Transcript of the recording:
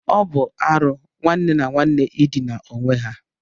Ọ bụ arụ nwanne na nwanne ịdina onwe ha